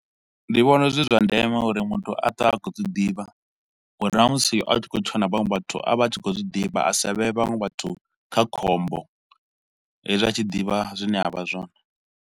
Ndi vhona zwi zwa ndeme uri muthu a twe a khou dzi ḓivha uri na musi a tshi khou tshila na vhaṅwe vhathu a vha a tshi khou zwi ḓivha, a sa vhee vhaṅwe vhathu kha khombo hezwi a tshi ḓivha zwine avha zwone.